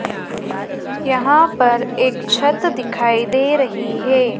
यहां पर एक छत दिखाई दे रही है।